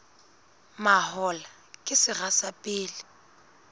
mahola ke sera sa pele